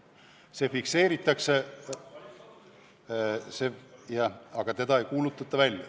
See fikseeritakse, aga seda ei kuulutata välja.